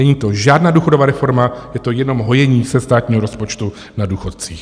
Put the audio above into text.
Není to žádná důchodová reforma, je to jenom hojení se státního rozpočtu na důchodcích.